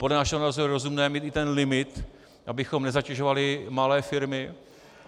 Podle našeho názoru je rozumné mít i ten limit, abychom nezatěžovali malé firmy.